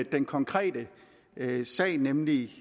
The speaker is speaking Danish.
den konkrete sag nemlig